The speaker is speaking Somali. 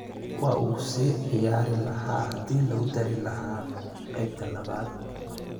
Waa uu sii ciyaari lahaa hadii lagu duri lahaa qeybta labaad.